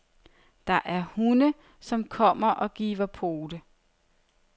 Der er hunde, som kommer og giver pote.